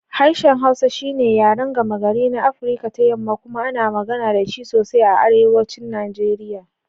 Harshen Hausa shi ne yaren gama-gari na Afirka ta Yamma kuma ana magana da shi sosai a Arewacin Najeriya.